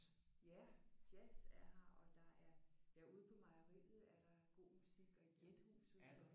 Ja jazz er her og der er ja ude på mejeriet er der god musik og i Gjethuset er der